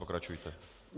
Pokračujte.